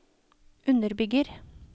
underbygger